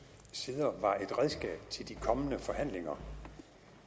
sider var et redskab til de kommende forhandlinger